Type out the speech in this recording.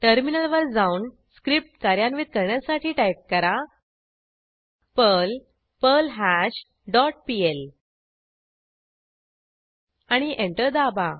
टर्मिनलवर जाऊन स्क्रिप्ट कार्यान्वित करण्यासाठी टाईप करा पर्ल पर्ल्हाश डॉट पीएल आणि एंटर दाबा